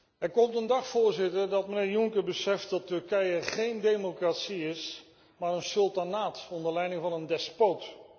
Er komt een dag, Voorzitter, dat meneer Juncker beseft dat Turkije geen democratie is, maar een sultanaat onder leiding van een despoot.